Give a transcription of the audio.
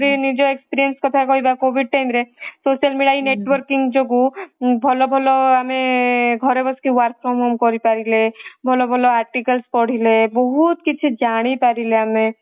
ଆମେ ଯଦି ନିଜ experience କଥା କହିବ COVID time ରେ social media networking ଯୋଗୁ ଭଲ ଭଲ ଆମେ ଘରେ ବସିକି work from home କରି ପାରିଲେ ଭଲ ଭଲ articles ପଢିଲେ ବହୁତ କିଛି ଜାଣି ପାରିଲେ ଆମେ